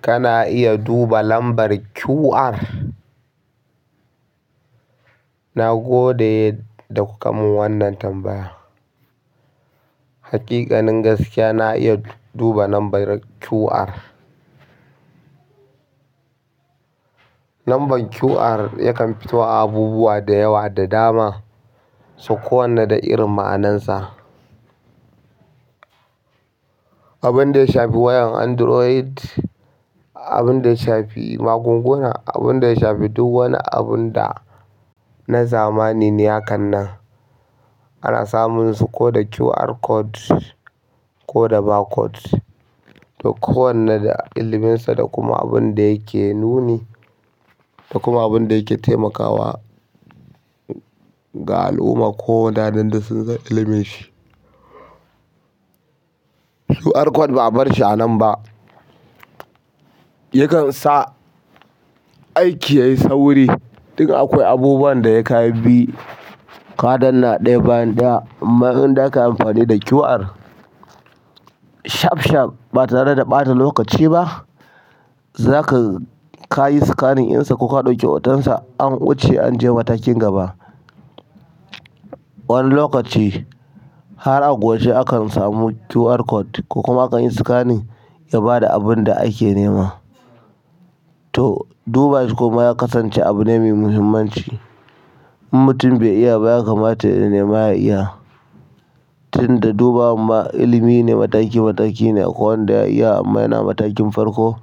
Kana iya duba lambar QR. Nagode da kuka mun wannan tambaya. Haƙiƙanin gaskiya, na iya duba lambar QR. Lambar QR yakan fito a abubuwa da yawa da dama, so kowanne da irin ma'anansa. Abinda yashafi wayar android abinda ya shafi magunguna abinda ya shafi duk wani abunda na zamani ne hakan nan. Ana samun su koda QR code koda barcode. Duk kowanne da iliminsa da kuma abinda yake nuni, da kuma abinda yake taimakawa ga al'umma ko waɗanda sun san ilimin shi. QR code ba'a bar shi anan ba. Yakan sa aiki yayi sauri. Dun akwai abubuwan da yakayi bi, kaɗan na ɗaya bayan ɗaya. Amma idan zakayi amfani da QR, shaf shaf ba tare da ɓata lokaci ba. Zaka-- kayi scanning ɗinsa koka ɗauki hotonsa, an wuce anje matakin gaba. Wani lokaci, har a gobe akan samu QR code ko kuma akan yi scanning ya bada abinda ake nema. To dubashi kuma yakasance abu me muhimmanci in mutum bai iya ba, ya kamata ya nema ya iya. Tunda dubawar ma ilimine mataki mataki ne wanda ya iya amma yana matakin farko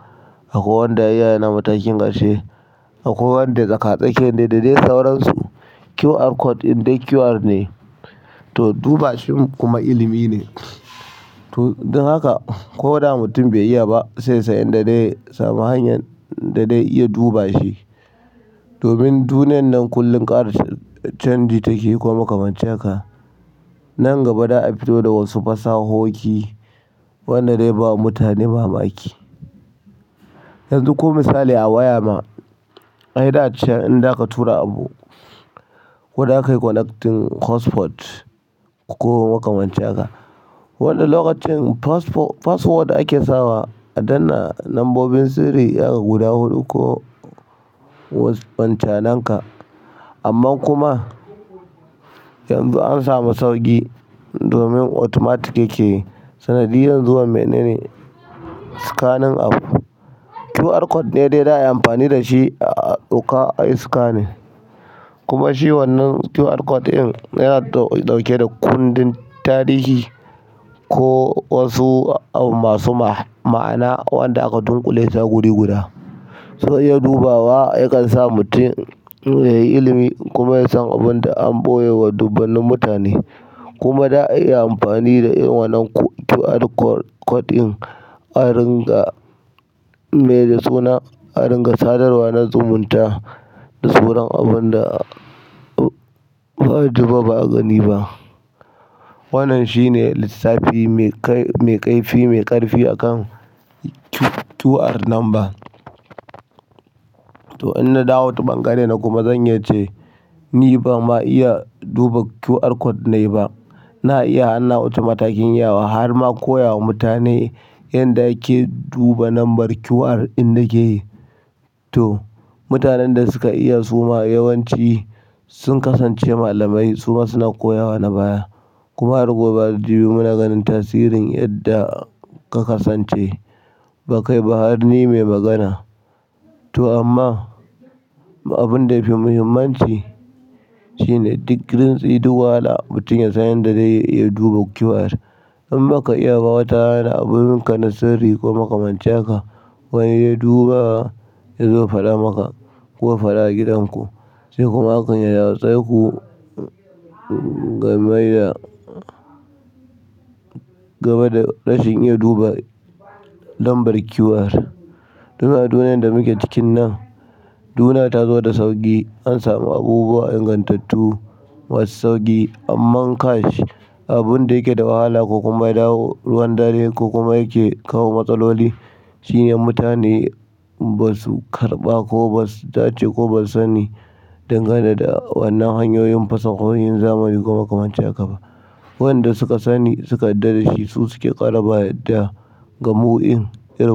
akwai wanda ya iya yana. Atkinson ƙarshe akwai wanda tsaka tsakiya ne da dai sauransu QR code ɗin dai QR to dubashin kuma ilimi ne to, dun haka ko da mutum bai iya ba, sai yasan inda dai ya samu hanyar da dai iya duba shi. Domin duniyan nan kullum ƙara canji take yi kuma kamance ka. Nan gaba za'a fito da wasu fasahohi, wannan dai ba mutane mamaki. Yanzu, ko misali a waya ma, ai da can idan zaka tura abu ko za kayi connecting hotspot ko kuma kamance ka, wannan lokacin password ake sawa a danna lambobin sirri, ya guda huɗu ko wasu wancananka. Amma kuma yanzu ansamu sauƙi domin automatic yake yi. Sanadiyar zuwa menene scanning abu. QR code ne dai za'ayi amfani dashi a ɗauka, ayi scanning. Kuma shi wannan QR code in yana ɗauke da kundin tarihi ko wasu masu ma'ana wanda aka dunƙule a guri guda. Zai iya dubawa, yakan sa mutum yayi ilimi kuma yasan abinda an ɓoyewa dubbanin mutane. Kuma za a iya amfani da wannan QR code in a ringa-- me da suna, a ringa sadarwa na zumunta da suran abinda ba'a duba ba'a gani ba. Wannan shine lissafi mai kaifi, mai ƙarfi akan QR number. To, in nadawo ta ɓangare na kuma zan iya ce ni ban ma iya duba QR code nayi ba. Na iya har nawuce matakin yawa har ma koyawa mutane yanda ake duba lambar QR in da keyi. To, mutanen da suka iya suma yawanci sun kasance malamai. Su ma suna koyawa na baya. Kuma har gobe da jibi muna ganin tasirin yadda ka kasance ba kai ba har ni mai magana. To amma abinda yafi muhimmanci shine digirin tsaye duk wahala mutum ya san yanda ya iya duba QR. In ba ka iya ba, wata rana abubunka na sirri k makamance haka, wani ya duba yazo ya faɗamaka ko ya faɗa a gidan ku. Sai kuma akan ya yaushe ku game da game da rashin iya duba lambar QR. Yanzu a duniyar da muke cikin nan duniya tazo da sauƙi. Ansamu abubuwa ingantattu masu sauƙi. Amma kash, abinda yake da wahala ko kuma ya dawo ruwan dare ko kuma yake kawo matsaloli shine mutane basu karɓa ko basu dace ko basu sani dangane da wannan hanyoyin fasahohin zamani komakamance haka ba. Waɗanda suka sani suka daɗe dashi su suke ƙara ba yadda ga mu in irin.